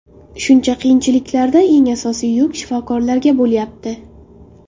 Shuncha qiyinchiliklarda eng asosiy yuk shifokorlarga bo‘layapti.